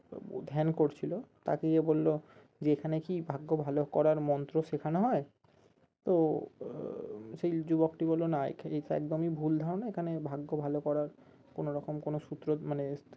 ধ্যান করছিলো তাকে যেয়ে বললো যে এখানে কি ভাগ্য ভালো করার মন্ত্র শেখানো হয়? তো আহ সেই যুবকটি বললো না একদমই ভুল ধারণা এখানে ভাগ্য ভালো করার কোনোরকম কোনো সূত্র মানে